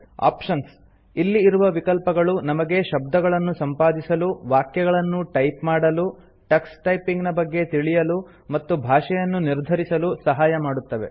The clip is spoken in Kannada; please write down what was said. ಆಪ್ಷನ್ಸ್ - ಇಲ್ಲಿ ಇರುವ ವಿಕಲ್ಪಗಳು ನಮಗೆ ಶಬ್ದಗಳನ್ನು ಸಂಪಾದಿಸಲು ವಾಕ್ಯಗಳನ್ನು ಟೈಪ್ ಮಾಡಲು ಟಕ್ಸ್ ಟೈಪಿಂಗ್ ನ ಬಗ್ಗೆ ತಿಳಿಯಲು ಮತ್ತು ಭಾಷೆಯನ್ನು ನಿರ್ಧರಿಸಲು ಸಹಾಯ ಮಾಡುತ್ತವೆ